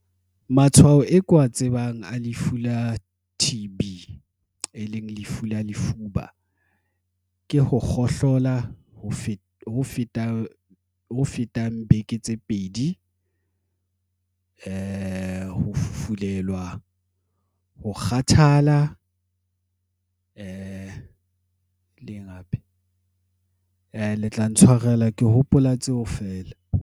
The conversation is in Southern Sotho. Matshwao e ke wa tsebang a Lefu la T_ B, e leng lefu la lefuba, ke ho kgohlola ho feta fetang beke tse pedi ho fufulelwa ho kgathala le tla ntshwarela ke hopola tseo feela.